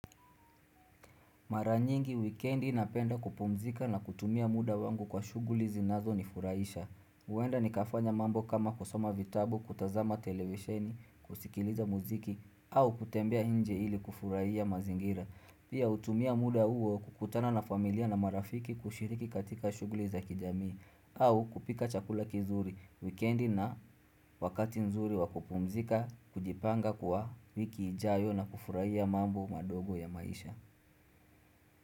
Maranyingi, wikendi napenda kupumzika na kutumia muda wangu kwa shughuli zinazonifurahisha. Huenda nikafanya mambo kama kusoma vitabu, kutazama telewisheni, kusikiliza muziki, au kutembea nje ili kufurahia mazingira. Pia hutumia muda huo kukutana na familia na marafiki kushiriki katika shughuli za kijamii, au kupika chakula kizuri, weekendi na wakati nzuri wa kupumzika, kujipanga kwa wiki ijayo na kufurahia mambo madogo ya maisha.